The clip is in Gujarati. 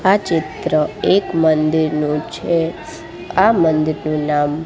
આ ચિત્ર એક મંદિરનું છે આ મંદિરનું નામ--